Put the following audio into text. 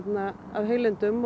af heilindum